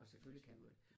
Og selvfølgelig kan du